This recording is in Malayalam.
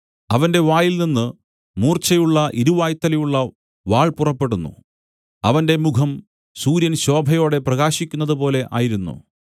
അവന്റെ വായിൽനിന്നു മൂർച്ചയുള്ള ഇരുവായ്ത്തലയുള്ള വാൾ പുറപ്പെടുന്നു അവന്റെ മുഖം സൂര്യൻ ശോഭയോടെ പ്രകാശിക്കുന്നതുപോലെ ആയിരുന്നു